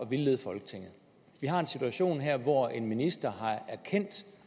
vildlede folketinget vi har en situation her hvor en minister har erkendt